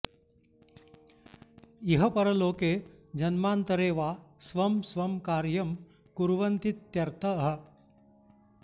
इह परलोके जन्मान्तरे वा स्वं स्वं कार्यं कुर्वन्तीत्यर्तः